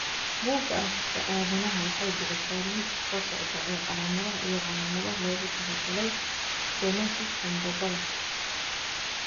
Bugaa aragtida aDdanaha waxay bixisaa liiska soo socda ee calaamadaha iyo calaamadaha loogu talagalay stenosis sambabada.